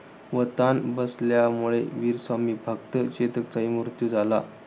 व ताण बसल्यामुळे वीर स्वामीभक्त चेताकचाही मृत्यू झाला.